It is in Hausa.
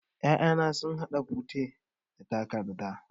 'Ya'yana sun haɗa fure da takarda.